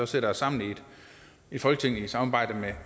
sætter os sammen i folketinget i samarbejde med